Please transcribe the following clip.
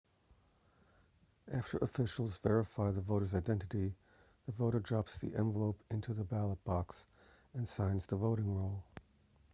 after officials verify the voter's identity the voter drops the envelope into the ballot box and signs the voting roll